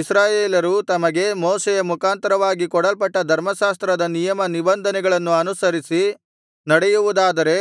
ಇಸ್ರಾಯೇಲರು ತಮಗೆ ಮೋಶೆಯ ಮುಖಾಂತರವಾಗಿ ಕೊಡಲ್ಪಟ್ಟ ಧರ್ಮಶಾಸ್ತ್ರದ ನಿಯಮ ನಿಬಂಧನೆಗಳನ್ನು ಅನುಸರಿಸಿ ನಡೆಯುವುದಾದರೆ